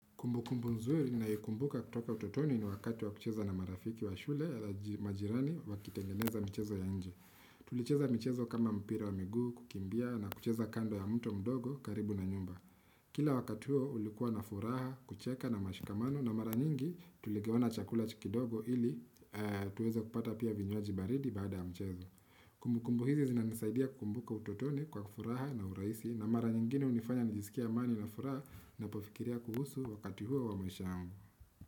Kumbukumbu nzuri ninaikumbuka kutoka utotoni ni wakati wa kucheza na marafiki wa shule ya majirani wakitengeneza mchezo ya nje. Tulicheza mchezo kama mpira wa miguu, kukimbia na kucheza kando ya mtu mdogo karibu na nyumba. Kila wakati ulikuwa na furaha, kucheka na mashikamano na mara nyingi tuligawana chakula kidogo ili tuweze kupata pia vinywaji baridi baada ya mchezo. Kumbukumbu hizi zinanisaidia kumbuka utotoni kwa furaha na urahisi na mara nyingine unifanya nijisikia amani na furaha napofikiria kuhusu wakati huo wa maisha yangu.